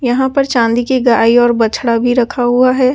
यहां पर चांदी की गाय और बछड़ा भी रखा हुआ है ।